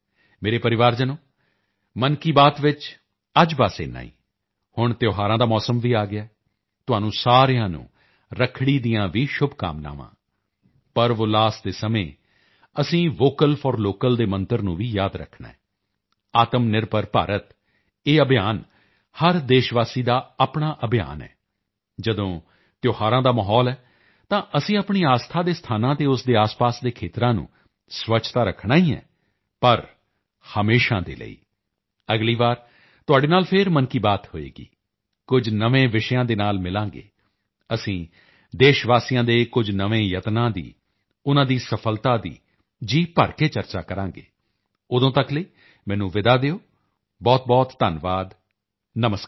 ਮੇਰੇ ਪਰਿਵਾਰਜਨੋ ਮਨ ਕੀ ਬਾਤ ਚ ਅੱਜ ਬਸ ਇੰਨਾ ਹੀ ਹੁਣ ਤਿਉਹਾਰਾਂ ਦਾ ਮੌਸਮ ਵੀ ਆ ਗਿਆ ਹੈ ਤੁਹਾਨੂੰ ਸਾਰਿਆਂ ਨੂੰ ਰੱਖੜੀ ਦੀਆਂ ਵੀ ਸ਼ੁਭਕਾਮਨਾਵਾਂ ਪਰਵਉੱਲਾਸ ਦੇ ਸਮੇਂ ਅਸੀਂ ਵੋਕਲ ਫੌਰ ਲੋਕਲ ਦੇ ਮੰਤਰ ਨੂੰ ਵੀ ਯਾਦ ਰੱਖਣਾ ਹੈ ਆਤਮਨਿਰਭਰ ਭਾਰਤ ਇਹ ਅਭਿਯਾਨ ਹਰ ਦੇਸ਼ਵਾਸੀ ਦਾ ਆਪਣਾ ਅਭਿਯਾਨ ਹੈ ਜਦੋਂ ਤਿਉਹਾਰਾਂ ਦਾ ਮਾਹੌਲ ਹੈ ਤਾਂ ਅਸੀਂ ਆਪਣੀ ਆਸਥਾ ਦੇ ਸਥਾਨਾਂ ਅਤੇ ਉਸ ਦੇ ਆਸਪਾਸ ਦੇ ਖੇਤਰਾਂ ਨੂੰ ਸਵੱਛ ਤਾਂ ਰੱਖਣਾ ਹੀ ਹੈ ਪਰ ਹਮੇਸ਼ਾ ਦੇ ਲਈ ਅਗਲੀ ਵਾਰ ਤੁਹਾਡੇ ਨਾਲ ਫਿਰ ਮਨ ਕੀ ਬਾਤ ਹੋਵੇਗੀ ਕੁਝ ਨਵੇਂ ਵਿਸ਼ਿਆਂ ਦੇ ਨਾਲ ਮਿਲਾਂਗੇ ਅਸੀਂ ਦੇਸ਼ਵਾਸੀਆਂ ਦੇ ਕੁਝ ਨਵੇਂ ਯਤਨਾਂ ਦੀ ਉਨ੍ਹਾਂ ਦੀ ਸਫ਼ਲਤਾ ਦੀ ਜੀਭਰ ਕੇ ਚਰਚਾ ਕਰਾਂਗੇ ਉਦੋਂ ਤੱਕ ਲਈ ਮੈਨੂੰ ਵਿਦਾ ਦਿਓ ਬਹੁਤਬਹੁਤ ਧੰਨਵਾਦ ਨਮਸਕਾਰ